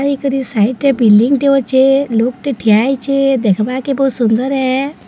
ଏହି କରି ସାଇଟ୍ ରେ ବିଲ୍ଡିଂ ଟେ ଅଛେ ଲୋକ୍ ଟେ ଠିଆ ହେଇଚେ ଦେଖବାର୍ କେ ବୋହୁତ ସୁନ୍ଦର୍ ହେ।